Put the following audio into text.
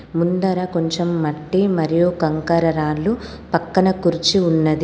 ముందర కొంచెం మట్టి మరియు కంకర రాళ్లు పక్కన కుర్చి ఉన్నది.